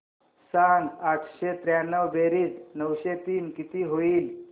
सांग आठशे त्र्याण्णव बेरीज नऊशे तीन किती होईल